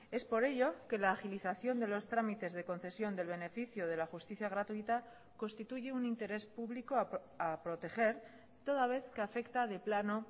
es por ello que la agilización de los trámites de concesión del beneficio de la justicia gratuita constituye un interés público a proteger toda vez que afecta de plano